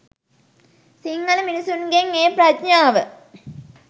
සිංහල මිනිස්සුන්ගෙන් ඒ ප්‍රඥාව